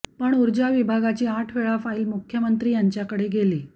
पण ऊर्जा विभागाची आठ वेळा फाईल मुख्यमंत्री यांच्याकडे गेली